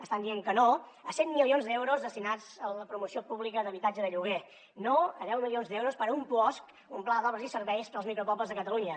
estan dient que no a cent milions d’euros destinats a la promoció pública d’habitatge de lloguer no a deu milions d’euros per a un puos un pla d’obres i serveis per als micropobles de catalunya